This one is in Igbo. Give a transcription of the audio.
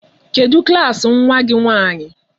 Kedụ klaasị nwa gị nwaanyị?